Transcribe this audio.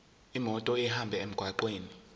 imoto ihambe emgwaqweni